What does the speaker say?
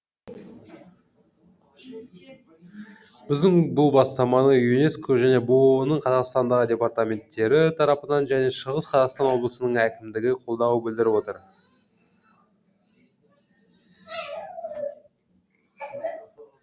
біздің бұл бастаманы юнеско және бұұ ның қазақстандағы департаменттері тарапынан және шығыс қазақстан облысының әкімдігі қолдау білдіріп отыр